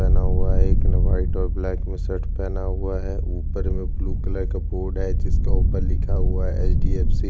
पहना हुआ है एक ने वाइट कलर का शर्ट पहना हुआ है ऊपर में ब्लू कलर का बोर्ड है जिसके ऊपर लिखा हुआ है एच डी एफ सी --